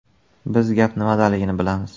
“Biz gap nimadaligini bilamiz.